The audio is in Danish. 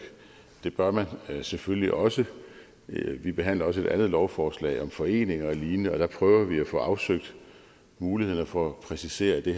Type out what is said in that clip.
det bør man selvfølgelig også vi behandler også et andet lovforslag om foreninger og lignende og der prøver vi at få afsøgt mulighederne for at præcisere at det